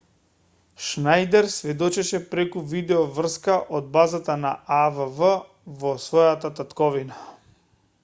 шнајдер сведочеше преку видеоврска од база на авв во својата татковина